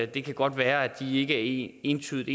det kan godt være at de ikke entydigt